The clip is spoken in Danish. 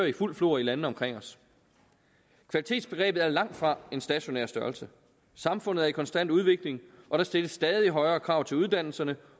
i fuldt flor i landene omkring os kvalitetsbegrebet er langtfra en stationær størrelse samfundet er i konstant udvikling og der stilles stadig højere krav til uddannelserne